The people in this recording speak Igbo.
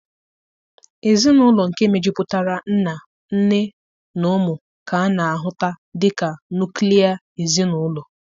Ezinụlọ nke mejupụtara nna, nne na ụmụ ka a na-ahuta dị ka nuklia ezinụlọ